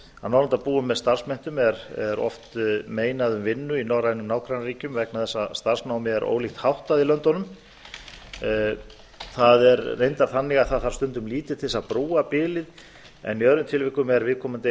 að norðurlandabúum með starfsmenntun er oft meinað um vinnu í norrænum nágrannaríkjum vegna þess að starfsnámi er ólíkt háttað í löndunum það er reyndar þannig að það þarf stundum lítið til að búa bilið en í öðrum tilvikum er viðkomandi